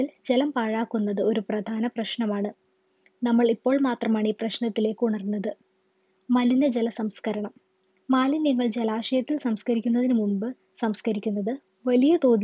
ത്തിൽ ജലം പാഴാക്കുന്നത് ഒരു പ്രധാന പ്രശ്‌നമാണ് നമ്മൾ ഇപ്പോൾ മാത്രമാണ് ഈ പ്രശ്‌നത്തിലേക്ക് ഉണർന്നത് മലിന ജല സംസ്കരണം മാലിന്യങ്ങൾ ജലാശയത്തിൽ സംസ്കരിക്കുന്നതിന് മുമ്പ് സംസ്കരിക്കുന്നത് വലിയതോതിൽ